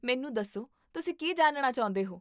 ਮੈਨੂੰ ਦੱਸੋ, ਤੁਸੀਂ ਕੀ ਜਾਣਨਾ ਚਾਹੁੰਦੇ ਹੋ?